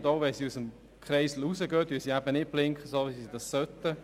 Und auch wenn sie den Kreisel verlassen, blinken sie eben nicht, so wie sie es sollten.